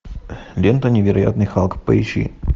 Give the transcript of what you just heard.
лента невероятный халк поищи